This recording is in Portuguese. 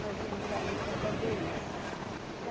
Nós íamos para ali para fazer isso.